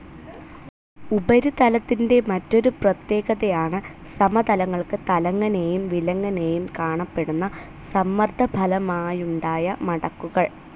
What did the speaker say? ഉപരിതലത്തിന്റെ മറ്റൊരു പ്രത്യേകതയാണ്‌ സമതലങ്ങൾക്ക് തലങ്ങനേയും വിലങ്ങനേയും കാണപ്പെടുന്ന സമ്മർദ്ദഫലമായുണ്ടായ മടക്കുകൾ.